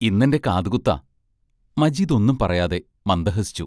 ഇന്നെന്റെ കാതുകുത്താ മജീദ് ഒന്നും പറയാതെ മന്ദഹസിച്ചു.